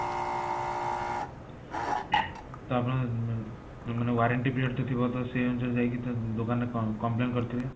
ତ ଆପଣଙ୍କ ମାନେ ମାନେ warranty period ତ ଥିବ ସେଇ ଅନୁସାରେ ଯାଇକି ତ ଦୋକାନରେ complain କରିଥିବେ